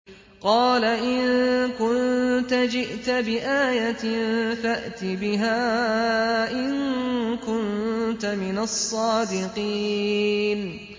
قَالَ إِن كُنتَ جِئْتَ بِآيَةٍ فَأْتِ بِهَا إِن كُنتَ مِنَ الصَّادِقِينَ